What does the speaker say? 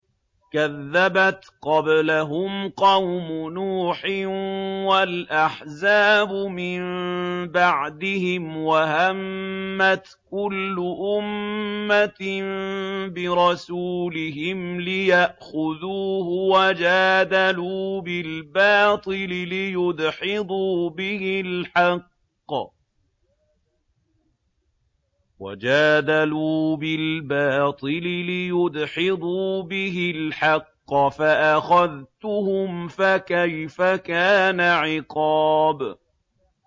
كَذَّبَتْ قَبْلَهُمْ قَوْمُ نُوحٍ وَالْأَحْزَابُ مِن بَعْدِهِمْ ۖ وَهَمَّتْ كُلُّ أُمَّةٍ بِرَسُولِهِمْ لِيَأْخُذُوهُ ۖ وَجَادَلُوا بِالْبَاطِلِ لِيُدْحِضُوا بِهِ الْحَقَّ فَأَخَذْتُهُمْ ۖ فَكَيْفَ كَانَ عِقَابِ